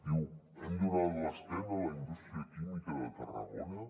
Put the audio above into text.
diu hem donat l’esquena a la indústria química de tarragona